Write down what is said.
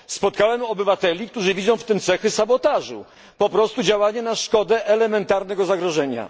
Spotkałem obywateli, którzy widzą w tym cechy sabotażu po prostu działanie na szkodę, elementarne zagrożenie.